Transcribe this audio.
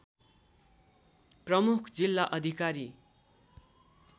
प्रमुख जिल्ला अधिकारी